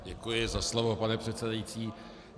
Děkuji za slovo, paní předsedající.